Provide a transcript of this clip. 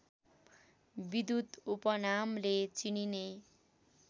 विद्युत उपनामले चिनिने